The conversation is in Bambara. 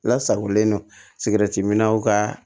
Lasagolen don minnaw ka